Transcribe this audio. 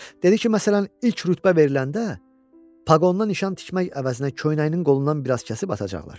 Dedi ki, məsələn, ilk rütbə veriləndə paqondan nişan tikmək əvəzinə köynəyinin qolundan biraz kəsib atacaqlar.